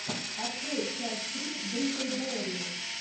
открой часть три бриклберри